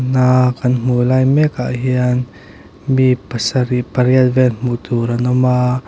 na hmuh lai mek ah hian mi pasarih pariat vel hmuh tur an awm a.